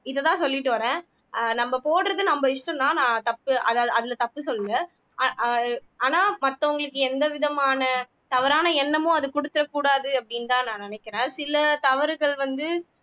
இதைதான் சொல்லிட்டு வர்றேன் ஆஹ் நம்ம போடுறது நம்ம இஷ்டம்தான் நான் தப்பு அது அதுல தப்பு சொல்லுல அஹ் அஹ் ஆனா மத்தவங்களுக்கு எந்த விதமான தவறான எண்ணமும் அது குடுத்துறக்கூடாது அப்படின்னுதான் நான் நினைக்கிறேன் சில தவறுகள் வந்து